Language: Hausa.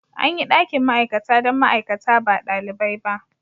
An yi dakin ma'aikata don ma'aikata ba ɗalibai ba.